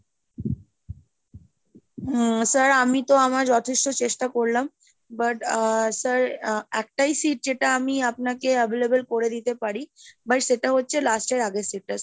উম sir আমি তো আমার যথেষ্ট চেষ্টা করলাম, but আহ sir একটাই seat যেটা আমি আপনাকে available করে দিতে পারি, but সেটা হচ্ছে last এর আগের seat টা।